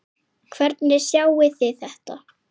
Hvernig sjáið þið þetta?